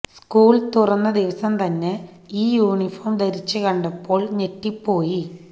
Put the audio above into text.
school തുറന്ന ദിവസം തന്നെ ഈ യൂണിഫോം ധരിച്ചു കണ്ടപ്പോൾ ഞെട്ടിപ്പോയി